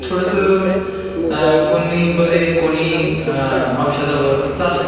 थोडस अ कोण नाही बरे, कोणी अ औषधावर चाललंय.